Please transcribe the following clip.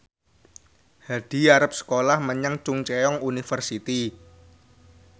Hadi arep sekolah menyang Chungceong University